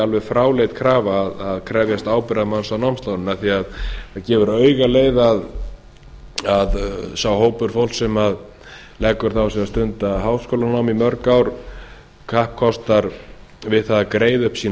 alveg fráleit krafa að krefjast ábyrgðarmanns á námslánum það gefur auga leið að sá hópur fólks sem leggur það á sig að stunda háskólanám í mörg ár kappkostar að greiða upp sín